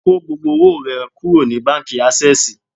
Kó gbogbo owó rẹ kúrò ní báńkì Ásẹ́sìì